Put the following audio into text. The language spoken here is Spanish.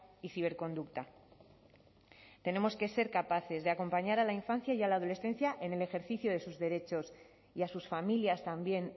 y ciberconducta tenemos que ser capaces de acompañar a la infancia y la adolescencia en el ejercicio de sus derechos y a sus familias también